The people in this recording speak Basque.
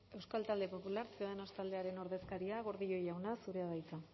euskal talde popular ciudadanos taldearen ordezkaria gordillo jauna zurea da hitza